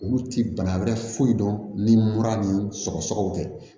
Olu ti bana wɛrɛ foyi dɔn ni mura ni sɔgɔsɔgɔ tɛ